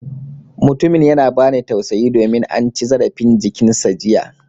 Mutumin yana bani tausayi domin an ci zarafin jikin sa jiya